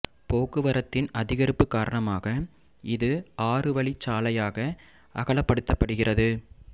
போக்குவரத்தின் அதிகரிப்பு காரணமாக இது ஆறு வழிச் சாலையாக அகலப்படுத்தப்படுகிறது